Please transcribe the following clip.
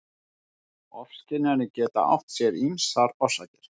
Ofskynjanir geta átt sér ýmsar orsakir.